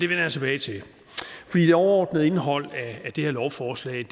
jeg tilbage til det overordnede indhold i det her lovforslag